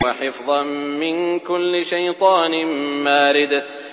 وَحِفْظًا مِّن كُلِّ شَيْطَانٍ مَّارِدٍ